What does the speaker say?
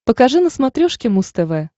покажи на смотрешке муз тв